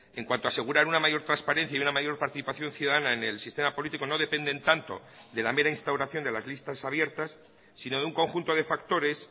en cuanto a asegurar una mayor transparencia y una mayor participación ciudadana en el sistema político no dependen tanto de la mera instauración de las listas abiertas sino de un conjunto de factores